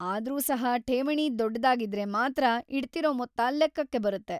ಆದ್ರೂ ಸಹ ಠೇವಣಿ ದೊಡ್ಡದಾಗಿದ್ರೆ ಮಾತ್ರ ಇಡ್ತಿರೋ ಮೊತ್ತ ಲೆಕ್ಕಕ್ಕ ಬರುತ್ತೆ.